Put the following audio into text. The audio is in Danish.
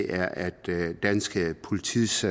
er at dansk politis